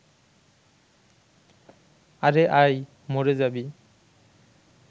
আরে আয়, মরে যাবি